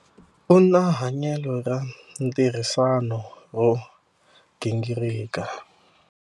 U na hanyelo ra ntirhisano ro gingirika.